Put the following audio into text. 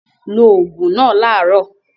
Lo òògùn náà láàárọ̀!